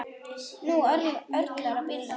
Nú örlar á bílum.